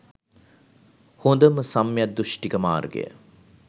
හොඳම සම්‍ය දුෂ්ටික මාර්ගය.